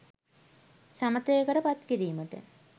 සමථයකට පත් කිරීමට